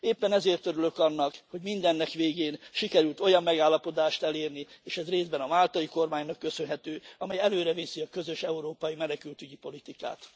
Éppen ezért örülök annak, hogy mindennek végén sikerült olyan megállapodást elérni és ez részben a máltai kormánynak köszönhető amely előreviszi a közös európai menekültügyi politikát.